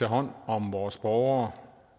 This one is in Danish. hånd om vores borgere